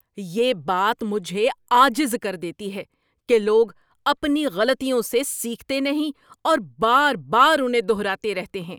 یہ بات مجھے عاجز کر دیتی ہے کہ لوگ اپنی غلطیوں سے سیکھتے نہیں اور بار بار انہیں دہراتے رہتے ہیں۔